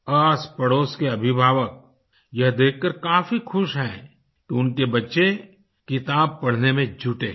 आसपड़ोस के अभिभावक यह देखकर काफी खुश हैं कि उनके बच्चे किताब पढ़ने में जुटे हैं